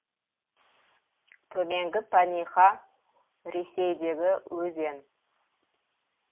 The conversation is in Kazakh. төменгі паниха ресейдегі өзен